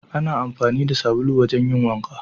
Ana amfani da sabulu wajen yin wanka